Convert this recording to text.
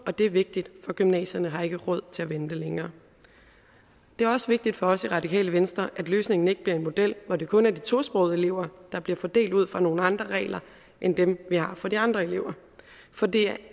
og det er vigtigt for gymnasierne har ikke råd til at vente længere det er også vigtigt for os i radikale venstre at løsningen ikke bliver en model hvor det kun er de tosprogede elever der bliver fordelt ud fra nogle andre regler end dem vi har for de andre lever for det